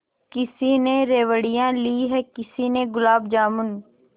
किसी ने रेवड़ियाँ ली हैं किसी ने गुलाब जामुन